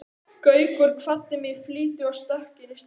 Gaukur kvaddi mig í flýti og stökk inn í strætó.